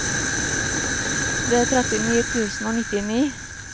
trettini tusen og nittini